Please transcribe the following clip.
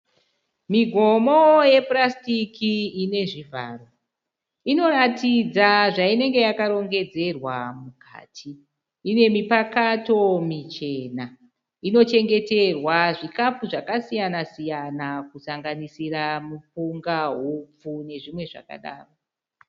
Migomo yepurasitiki ine zvivharo. Inoratidza zvainenge yakarongedzerwa mukati. Ine mipakato michena. Inochengeterwa zvikafu zvakasiyana- siyana kusanganisira mupunga, hupfu nezvimwe zvakadaro.